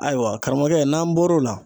Ayiwa karamɔgɔkɛ n'an bɔr'o la